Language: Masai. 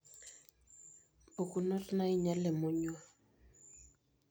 mpukunot nainyal emonyua.